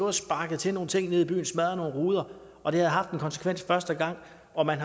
og sparket til nogle ting nede i byen smadret nogle ruder og det havde haft en konsekvens første gang og man